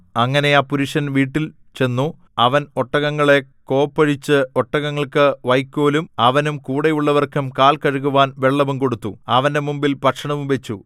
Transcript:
അങ്ങനെ ആ പുരുഷൻ വീട്ടിൽ ചെന്നു അവൻ ഒട്ടകങ്ങളെ കോപ്പഴിച്ചു ഒട്ടകങ്ങൾക്ക് വയ്ക്കോലും അവനും കൂടെയുള്ളവർക്കും കാൽ കഴുകുവാൻ വെള്ളവും കൊടുത്തു അവന്റെ മുമ്പിൽ ഭക്ഷണം വച്ചു